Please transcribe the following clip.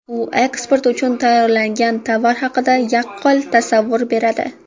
U eksport uchun tayyorlangan tovar haqida yaqqol tasavvur beradi.